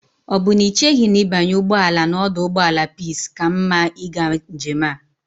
O bu na icheghi na ibanye ugboala na oduugboala peace ka mma iga njem a?